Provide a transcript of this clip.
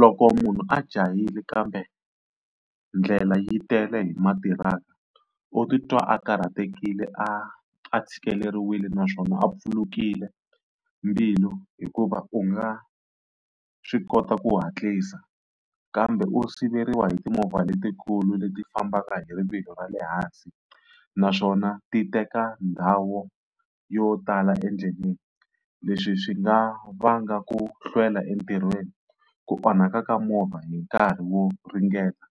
Loko munhu a jahile kambe ndlela yi tele hi matiraka u titwa a karhatekile a a tshikileriwile naswona a pfulukile mbilu, hikuva u nga swi kota ku hatlisa kambe u siveriwa hi timovha letikulu leti fambaka hi rivilo ra le hansi, naswona ti teka ndhawu yo tala endleleni. Leswi swi nga vanga ku hlwela entirhweni, ku onhaka ka movha hi nkarhi wo ringeta